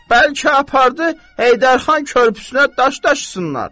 Bəlkə apardı Heydər xan körpüsünə daş daşısınlar.